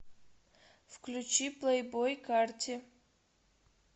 включи плейбой карти